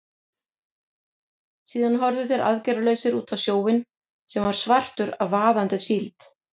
Síðan horfðu þeir aðgerðalausir út á sjóinn, sem var svartur af vaðandi síld.